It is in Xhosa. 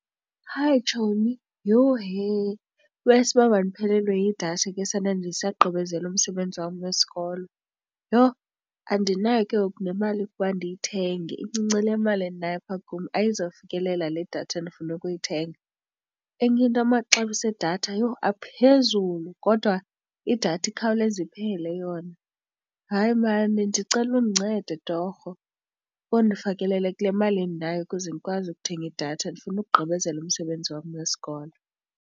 Hi, tshomi yhe, iwesi uba mandiphelelwe yidatha ke sana ndisagqibezela umsebenzi wam wesikolo. Yho andinayo ke ngoku nemali yokuba ndiyithenge incinci le mali endinayo apha kum ayizufikelela le datha endifuna ukuyithenga. Enye into amaxabiso edatha yho aphezulu kodwa idatha ikhawuleze iphele yona. Hayi, mani ndicela undincede torho ukuze undifakelele kule mali endinayo ukuze ndikwazi ukuthenga idatha ndifuna ukugqibezela umsebenzi wam wesikolo.